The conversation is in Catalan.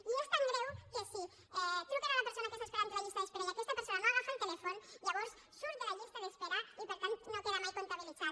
i és tan greu que si truquen a la persona que està esperant a la llista d’espera i aquesta persona no agafa el telèfon llavors surt de la llista d’espera i per tant no queda mai comptabilitzat